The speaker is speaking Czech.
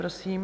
Prosím.